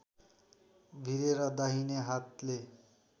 भिरेर दाहिने हातले